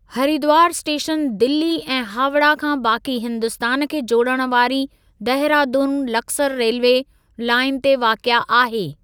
Haridwar station Delhi ऐं हावड़ा खां बाकी हिंदुस्तानु खें जोड़णु वारी देहरादून लक्सर रेल्वे लाइन ते वाक़िआ आहे।